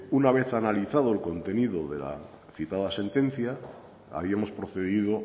una vez analizado el contenido de la citada sentencia habíamos procedido